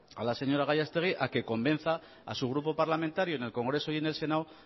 a la señora gallastegui a que convenza a su grupo parlamentario en el congreso y en el senado